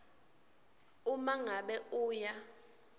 uma ngabe uya